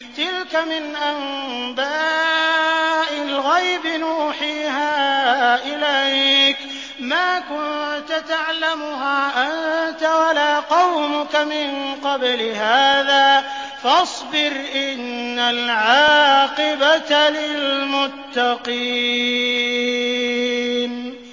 تِلْكَ مِنْ أَنبَاءِ الْغَيْبِ نُوحِيهَا إِلَيْكَ ۖ مَا كُنتَ تَعْلَمُهَا أَنتَ وَلَا قَوْمُكَ مِن قَبْلِ هَٰذَا ۖ فَاصْبِرْ ۖ إِنَّ الْعَاقِبَةَ لِلْمُتَّقِينَ